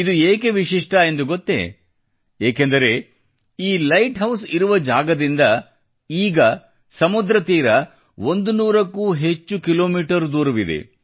ಇದು ಏಕೆ ವಿಶಿಷ್ಟ ಎಂದುಗೊತ್ತೇ ಏಕೆಂದರೆ ಈ ಲೈಟ್ ಹೌಸ್ ಇರುವ ಜಾಗದಿಂದ ಸಮುದ್ರ ತೀರ 100 ಕ್ಕೂ ಹೆಚ್ಚು ಕಿಲೋಮೀಟರ್ ದೂರವಿದೆ